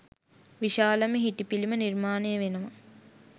විශාලම හිටි පිළිම නිර්මාණය වෙනවා.